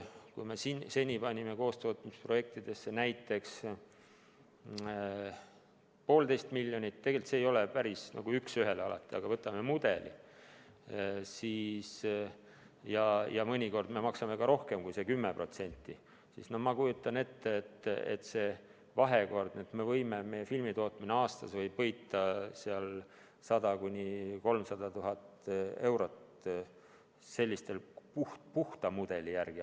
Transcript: Kui me seni panime kaastootmisprojektidesse näiteks 1,5 miljonit – tegelikult see ei ole alati päris üks ühele nii, aga võtame mudeli – ja mõnikord me maksame ka rohkem kui 10%, siis ma kujutan ette, et meie filmitootmine võib aastas võita 100 000 – 300 000 eurot sellise puhta mudeli järgi.